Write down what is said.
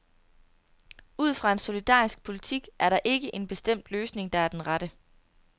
Ud fra en solidarisk politik er der ikke en bestemt løsning, der er den rette.